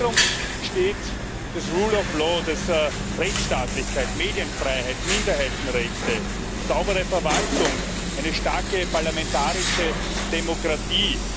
Im Zentrum steht das rule of law das heißt Rechtsstaatlichkeit, Medienfreiheit, Minderheitenrechte, saubere Verwaltung, eine starke parlamentarische Demokratie.